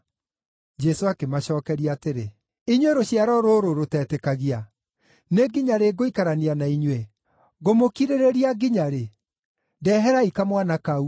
Jesũ akĩmacookeria atĩrĩ, “Inyuĩ rũciaro rũrũ rũtetĩkagia, nĩ nginya rĩ ngũikarania na inyuĩ? Ngũmũkirĩrĩria nginya rĩ? Ndeherai kamwana kau.”